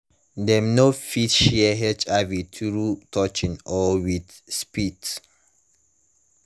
dem no fit share hiv through touching or with spit